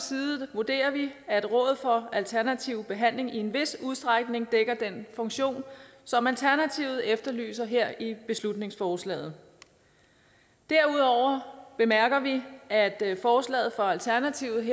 vurderer vi at råd for alternativ behandling i en vis udstrækning dækker den funktion som alternativet efterlyser her i beslutningsforslaget derudover bemærker vi at forslaget fra alternativet